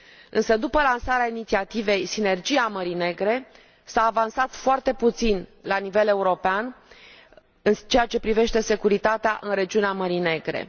Însă, după lansarea inițiativei Sinergia Mării Negre, s a avansat foarte puțin la nivel european în ceea ce privește securitatea în regiunea Mării Negre.